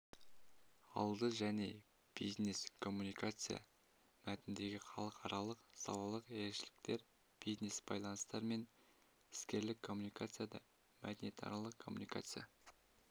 алды және бизнескоммуникация мәтініндегі халықаралық-салалық ерекшеліктер бизнесбайланыстар мен іскерлік коммуникацияда мәдениетаралық коммуникация